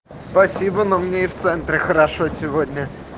спасибо но мне и в центре хорошо сегодня